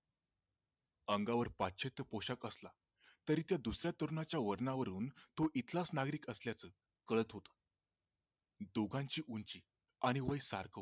अंगावर पाश्चात्य पोशाख असल तरी त्या दुसऱ्या वर्णावरून तो इथलाच नागरिक असल्याच कळत होत दोघांची उंची आणि वय सारखं होत